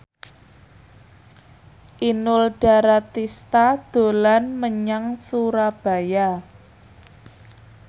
Inul Daratista dolan menyang Surabaya